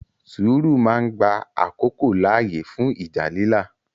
Sùúrù máa ń gba àkókò láàyè fún ìjà lílà.